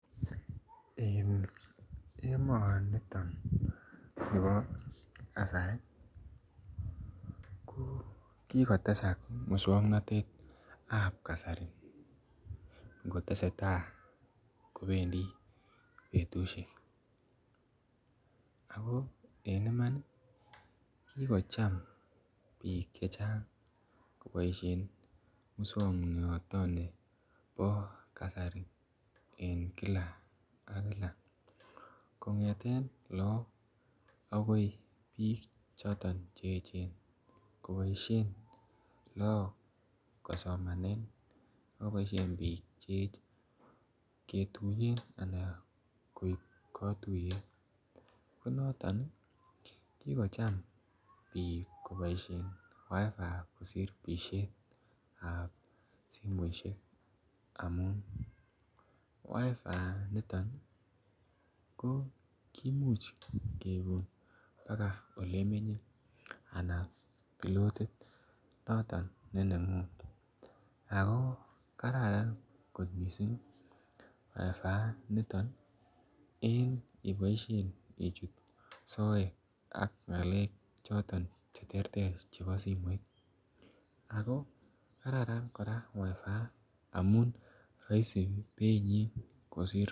En emonito nibo kasari ko ki kotesak moswoknatet ab kasari ngo tesetai kobendi betusiek ako en Iman ko ki kocham bik chechang koboisien moswoknatanito bo kasari en kila ak kila kongeten lagok akoi bik choton Che echen koboisien lagok kosomanen ak koboisien bik Che echen ketuiyen anan koib katuiyet ko noton ko ki kocham bik koboisien wifi kosir boisiet nebo simoisiek amun wifi niton ko kimuch keibun baka olemenye Anan pilotit noton ne nengung ako kararan kot mising wifi niton iboisien ichut soet ak ngalek choton Che terter chebo simoit ako kararan kora wifi amun rahisi beinyin